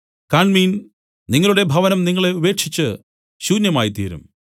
കാണ്മീൻ നിങ്ങളുടെ ഭവനം നിങ്ങളെ ഉപേക്ഷിച്ച് ശൂന്യമായ്തീരും